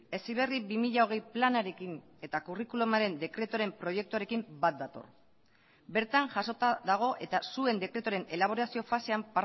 heziberri bi mila hogei planarekin eta kurrikulumaren dekretuaren proiektuarekin bat dator bertan jasota dago eta zuen dekretuaren elaborazio fasean